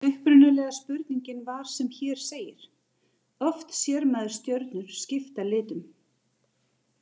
Upprunalega spurningin var sem hér segir: Oft sér maður stjörnur skipta litum.